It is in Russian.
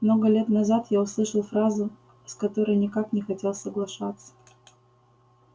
много лет назад я услышал фразу с которой никак не хотел соглашаться